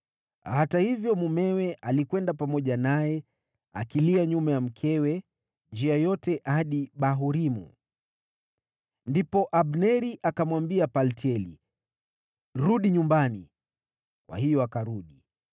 Hata hivyo, mumewe alikwenda pamoja naye, akilia nyuma ya mkewe njia yote hadi Bahurimu. Ndipo Abneri akamwambia Paltieli, “Rudi nyumbani!” Kwa hiyo akarudi.